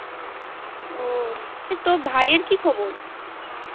ও তোর ভাইয়ের কি খবর?